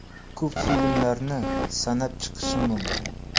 Ko‘p filmlarni sanab chiqishim mumkin.